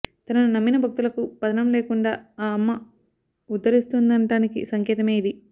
తనను నమ్మిన భక్తులకు పతనం లేకుండా ఆ అమ్మ ఉద్ధరిస్తుందునటానికి సంకేతమే ఇది